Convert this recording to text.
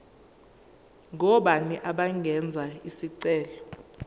ngobani abangenza isicelo